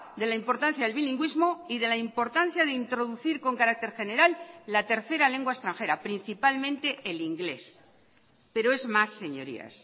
de la importancia del bilingüismo y de la importancia de introducir con carácter general la tercera lengua extranjera principalmente el inglés pero es más señorías